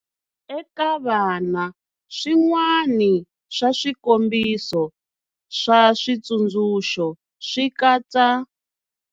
Eka vana, swin'wana swa swikombiso swa xitsundzuxo swi katsa.